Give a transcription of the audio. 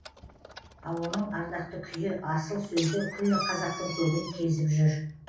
ал оның ардақты күйі асыл сөзі күллі қазақтың көгін кезіп жүр